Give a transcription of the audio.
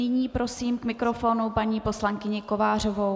Nyní prosím k mikrofonu paní poslankyni Kovářovou.